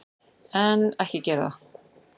En, ekki gera það!